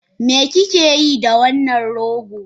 Me kuke yi da wannan rogo?